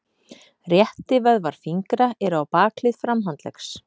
Réttivöðvar fingra eru á bakhlið framhandleggs.